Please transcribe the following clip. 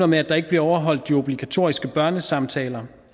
med at der ikke bliver afholdt de obligatoriske børnesamtaler